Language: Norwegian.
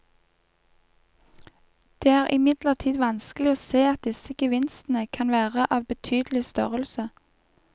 Det er imidlertid vanskelig å se at disse gevinstene kan være av betydelig størrelse.